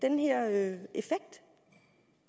nede